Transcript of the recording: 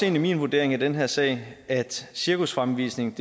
i min vurdering af den her sag at cirkusfremvisning